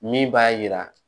Min b'a yira